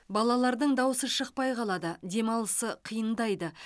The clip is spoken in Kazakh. балалардың даусы шықпай қалады демалысы қиындайды